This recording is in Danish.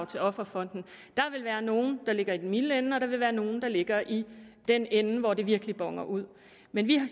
til offerfonden der vil være nogle der ligger i den milde ende og der vil være nogle der ligger i den ende hvor det virkelig boner ud men